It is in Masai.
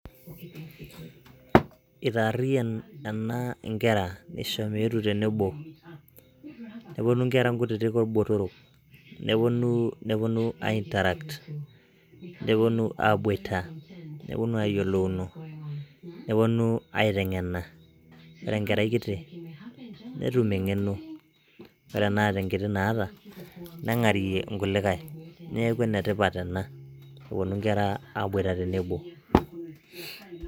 itaarriyian ena inkera isho meetu tenebo neponu inkera nkutitik orbotoro neponu, neponu ae interact neponu abuita neponu ayiolouno neponu aiteng'ena ore enkerai kiti netum eng'eno ore enaata enkiti naata neng'arie inkulikae neeku enetipat ena eponu inkera aboita tenebo.